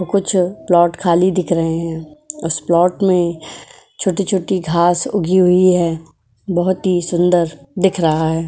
ओ कुछ प्लाट खाली दिख रहे हैं। उस प्लाट में छोटे-छोटे घास उगी हुई हैं। बहोत ही सुंदर दिख रहा है।